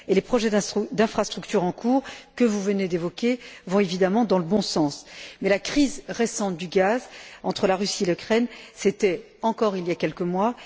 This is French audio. Les projets d'infrastructure en cours, que vous venez d'évoquer, vont évidemment dans le bon sens. La crise récente du gaz entre la Russie et l'Ukraine, c'était encore il y a quelques mois.